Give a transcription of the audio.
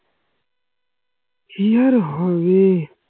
কি আর হবে?